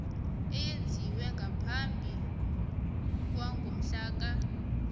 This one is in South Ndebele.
eyenziwe ngaphambi kwangomhlaka